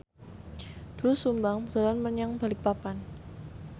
Doel Sumbang dolan menyang Balikpapan